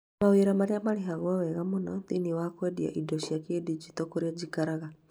mawĩra marĩa marĩhagwo wega mũno thĩinĩ wa kwendia indo cia kĩ-digital kũrĩa njikaraga